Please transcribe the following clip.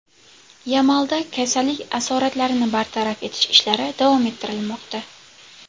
Yamalda kasallik asoratlarini bartaraf etish ishlari davom ettirilmoqda.